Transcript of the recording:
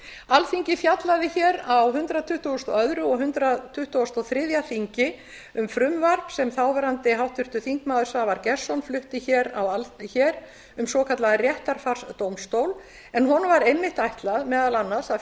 alþingi fjallaði á hundrað tuttugasta og öðrum og hundrað tuttugasta og þriðja þingi um frumvarp sem þáverandi háttvirtur þingmaður svavar gestsson flutti hér um svokallaðan réttarfarsdómstól en honum var einmitt ætlað meðal annars að